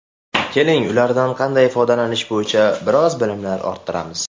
Keling, ulardan qanday foydalanish bo‘yicha biroz bilimlar orttiramiz.